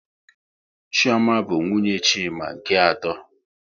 Chioma bụ nwunye Chima nke atọ